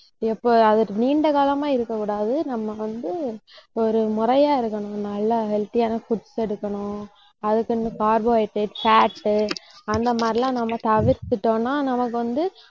எப்ப அது நீண்ட காலமா இருக்கக் கூடாது. நம்ம வந்து ஒரு முறையா இருக்கணும் நல்லா healthy யான foods எடுக்கணும் அதுக்கு இந்த carbohydrate, fat அந்த மாதிரி எல்லாம் நம்ம தவிர்த்துட்டோம்ன்னா நமக்கு வந்து